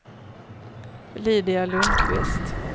Lydia Lundkvist